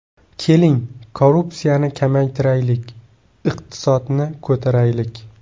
Keling, korrupsiyani kamaytiraylik, iqtisodni ko‘taraylik.